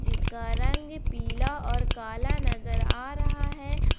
इसका रंग पीला और काला नजर आ रहा है।